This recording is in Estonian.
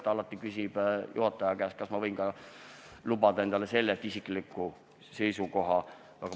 Ta alati küsib juhataja käest, kas ma võin lubada endale ka isikliku seisukoha väljendamist.